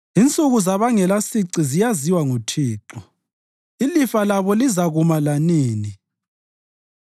Insuku zabangelasici ziyaziwa nguThixo, ilifa labo lizakuma lanini.